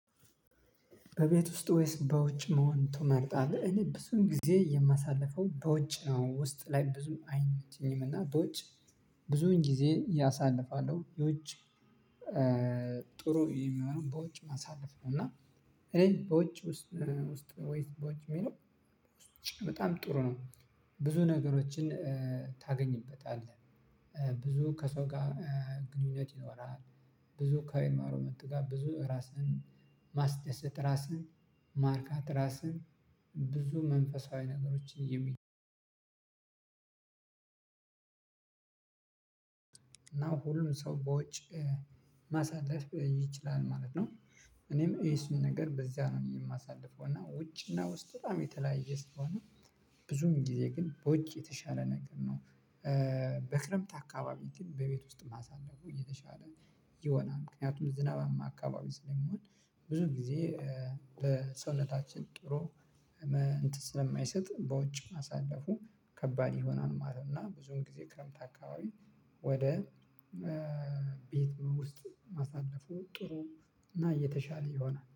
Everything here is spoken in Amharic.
በቤት ውስጥ ወይስ በውጭ መሆን ትመርጣለህ? እኔ ብዙን ጊዜ የማሳልፈው በውጭ ነው ውስጥ ላይ ብዙም አይመቸኝም እና በውጭ ብዙን ጊዜ ያሳልፋለው በውጭ። ጥሩ የሚሆነውን በውጭ ማሳለፍ ነው እና። እኔ በውጭ ውስጥ ወይስ በውጭ የሚለው ውጭ በጣም ጥሩ ነው። ብዙ ነገሮችን ታገኝበታለህ። ብዙ ከሰው ጋር ግንኙነት ይኖራል። ብዙ ከእንባይሮመንቱ ጋር ብዙ ራስን ማስደሰት ራስን ማርካት ራስን ብዙ መንፈሳዊ ነገሮችን የሚ እና ሁሉም ሰው በውጭ ማሳለፍ ይችላል ማለት ነው። እኔም የሱን ነገር በዚያ ነው የማሳልፈው እና ውጭ እና ውስጥ በጣም የተለያየ ስለሆነ ብዙም ጊዜ ግን በውጭ የተሻለ ነገር ነው። በክረምት አካባቢ ግን በቤት ውስጥ ማሳለፉ እየተሻለ የሆነ ምክንያቱም ዝናባማ አካባቢ ስለሚሆን። ብዙ ጊዜ በሰውነታችን ጥሩ እንትን ስለማይሰጥ በውጭ ማሳለፉ ከባድ ይሆናል ማለት ነው። እና ብዙም ጊዜ ክረምት አካባቢ ወደ ቤት ውስጥ ማሳለፉ ጥሩ እና እየተሻለ ይሆናል